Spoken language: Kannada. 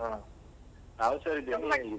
ಹ, ನಾವ್ ಹುಷಾರಿದ್ದೇವೆ .